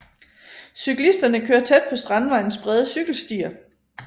Cyklisterne kører tæt på Strandvejens brede cykelstier